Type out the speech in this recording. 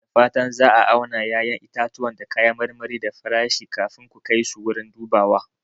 Da fatan za a auna ƴaƴan itatuwa da kayan marmari da farashi kafin ku kai su wurin dubawa.